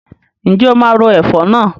Ǹjẹ́ o máa ro ẹ̀fọ̀ náà?